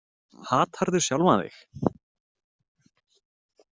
Hatarðu sjálfan þig?